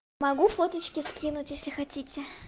могу форточки скинуть если хотите